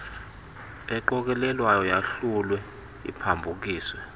eqokelelwayo yahlulwe iphambukiswe